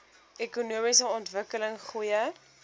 ekonomiese ontwikkeling goeie